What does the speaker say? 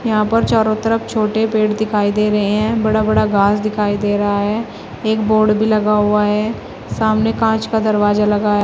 यहां पर चारों तरफ छोटे पेड़ दिखाई दे रहे हैं बड़ा बड़ा घास दिखाई दे रहा है एक बोर्ड भी लगा हुआ है सामने कांच का दरवाजा लगा है।